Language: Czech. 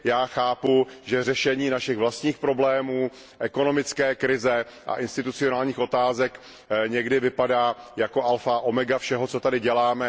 Já chápu, že řešení našich vlastních problémů, ekonomické krize a institucionálních otázek někdy vypadá jako alfa a omega všeho, co tady děláme.